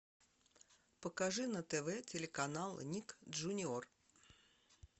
покажи на тв телеканал ник джуниор